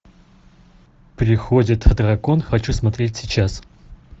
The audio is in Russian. приходит дракон хочу смотреть сейчас